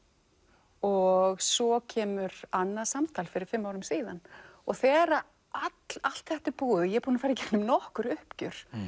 og svo kemur annað samtal fyrir fimm árum síðan þegar allt þetta er búið og ég er búin að fara í gegnum nokkur uppgjör